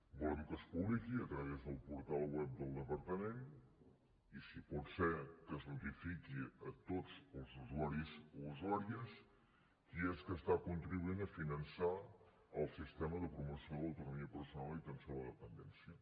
volem que es publiqui a través del portal web del departament i si pot ser que es notifiqui a tots els usuaris o usuàries qui és que està contribuint a finançar el sistema de promoció de l’autonomia personal i atenció a la dependència